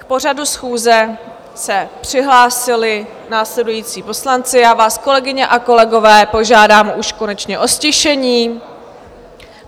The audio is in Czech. K pořadu schůze se přihlásili následující poslanci - já vás, kolegyně a kolegové, požádám už konečně o ztišení.